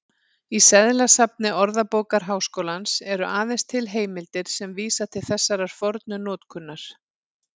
Í seðlasafni Orðabókar Háskólans eru aðeins til heimildir sem vísa til þessarar fornu notkunar.